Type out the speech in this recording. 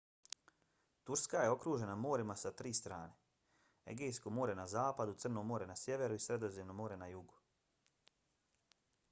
turska je okružena morima s tri strane: egejsko more na zapadu crno more na sjeveru i sredozemno more na jugu